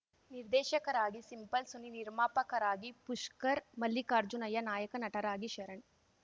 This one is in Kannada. ನಿರ್ದೇಶಕರಾಗಿ ಸಿಂಪಲ್‌ ಸುನಿ ನಿರ್ಮಾಪಕರಾಗಿ ಪುಷ್ಕರ್‌ ಮಲ್ಲಿಕಾರ್ಜುನಯ್ಯ ನಾಯಕ ನಟರಾಗಿ ಶರಣ್‌